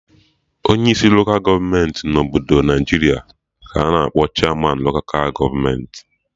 Onyi isi loka gọọmenti na obodo Naijiria ka a-na akpọ Chairmanụ loka gọọmenti